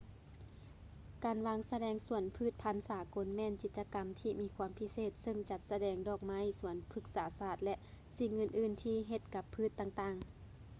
ການວາງສະແດງສວນພືດພັນສາກົນແມ່ນກິດຈະກຳທີ່ມີຄວາມພິເສດເຊິ່ງຈັດສະແດງດອກໄມ້ ສວນພືກສາສາດ ແລະ ສິ່ງອື່ນໆທີ່ເຮັດກັບພືດຕ່າງໆ